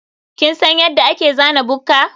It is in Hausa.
kin san yadda ake zana bukka?